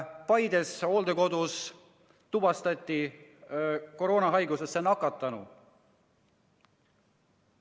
Paides hooldekodus tuvastati koroonahaigusesse nakatunu.